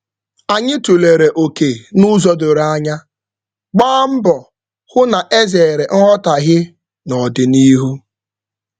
Anyị tụlere oke n'ụzọ doro anya, gbaa mbọ hụ na e zeere nghọtaghie n'ọdịnihu.